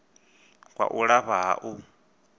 kwa u lafha ha u